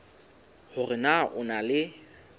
hore na o na le